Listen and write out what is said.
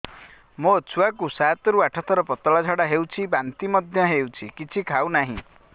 ମୋ ଛୁଆ କୁ ସାତ ରୁ ଆଠ ଥର ପତଳା ଝାଡା ହେଉଛି ବାନ୍ତି ମଧ୍ୟ୍ୟ ହେଉଛି କିଛି ଖାଉ ନାହିଁ